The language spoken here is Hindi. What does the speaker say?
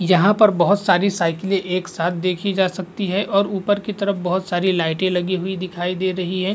यहां पर बहुत सारी साइकिले एक साथ देखी जा सकती है और ऊपर की तरफ बहुत सारी लाइटें लगी हुई दिखाई दे रही है।